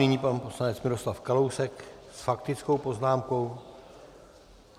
Nyní pan poslanec Miroslav Kalousek s faktickou poznámkou.